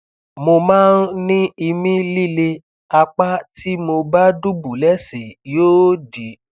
mo máa ń ní ìmí líle apá tí mo bá dùbúlẹ sí yóò dì